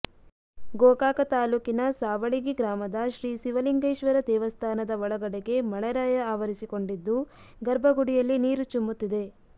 ಗೋಕಾಕ ತಾಲೂಕಿನ ಸಾವಳಗಿ ಗ್ರಾಮದ ಶ್ರೀ ಶಿವಲಿಂಗೇಶ್ವರ ದೇವಸ್ಥಾನದ ಒಳಗಡೆಗೆ ಮಳೆರಾಯ ಆವರಿಸಿಕೊಂಡಿದ್ದು ಗರ್ಭಗುಡಿಯಲ್ಲಿ ನೀರು ಚುಮ್ಮುತ್ತಿದೆ